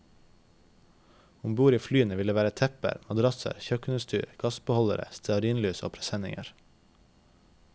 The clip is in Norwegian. Om bord i flyene vil det være tepper, madrasser, kjøkkenutstyr, gassbeholdere, stearinlys og presenninger.